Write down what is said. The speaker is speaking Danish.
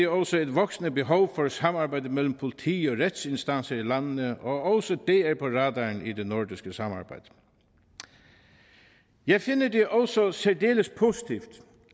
også et voksende behov for samarbejde mellem politi og retsinstanser i landene og også det er på radaren i det nordiske samarbejde jeg finder det også også særdeles positivt